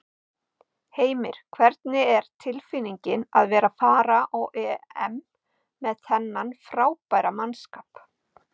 Heimir: Hvernig er tilfinningin að vera að fara á EM með þennan frábæra mannskap?